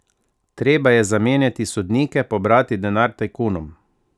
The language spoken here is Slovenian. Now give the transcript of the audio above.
Treba je zamenjati sodnike, pobrati denar tajkunom!